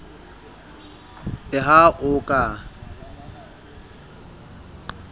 le ha a o ka